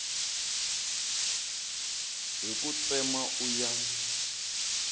hi ku tsema u ya